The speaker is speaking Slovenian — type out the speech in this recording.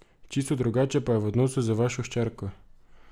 Čisto drugače pa je v odnosu z vašo hčerko.